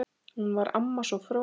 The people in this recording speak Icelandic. Hún var amma, svo fróð.